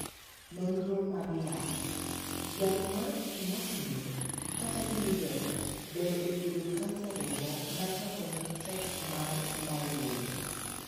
Nonro mag yath. Yath mar 'Imatinib' kata 'Gleevec' ber e thiedho kansa remo ma chango ne tek mar 'myeloid'.